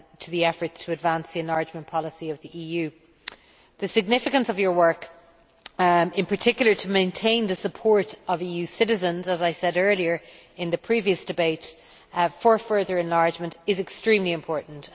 the efforts to advance the enlargement policy of the EU. The significance of your work, and in particular of maintaining the support of EU citizens as I said earlier in the previous debate for further enlargement, is extremely important.